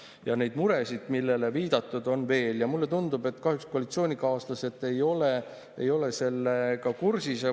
" Neid muresid, millele viitab, on veel ja mulle tundub, et koalitsioonikaaslased ei ole sellega kahjuks kursis.